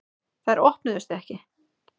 Þær opnuðust ekki.